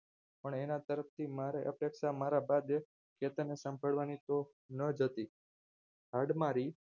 પણ અને તરફથી મારે અપેક્ષા મારા ભાગે નાજ હતી હાડમારી